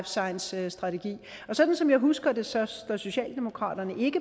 science strategi og sådan som jeg husker det står socialdemokratiet